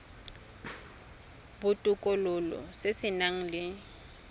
botokololo se se nang le